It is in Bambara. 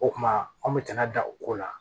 O kuma an bɛ tɛna da o ko la